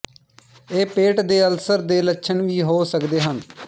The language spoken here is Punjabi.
ਇਹ ਪੇਟ ਦੇ ਅਲਸਰ ਦੇ ਲੱਛਣ ਵੀ ਹੋ ਸਕਦੇ ਹਨ